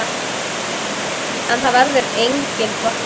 En það verður engin bolla.